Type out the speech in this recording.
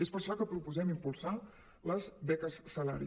és per això que proposem impulsar les beques salari